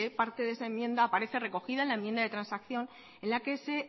parte de esa enmienda parece recogida en la enmienda de transacción en la que se